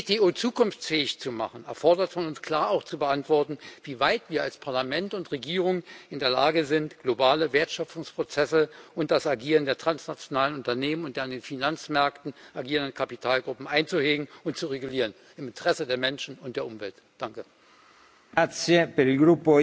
Die WTO zukunftsfähig zu machen, erfordert von uns klar, auch zu beantworten, wie weit wir als Parlament und Regierung in der Lage sind, globale Wertschöpfungsprozesse und das Agieren der transnationalen Unternehmen und der an den Finanzmärkten agierenden Kapitalgruppen im Interesse der Menschen und der Umwelt einzuhegen